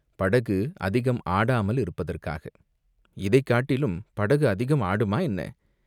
"படகு அதிகம் ஆடாமல் இருப்பதற்காக." "இதைக் காட்டிலும் படகு அதிகம் ஆடுமா என்ன?